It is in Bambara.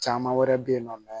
Caman wɛrɛ bɛ yen nɔ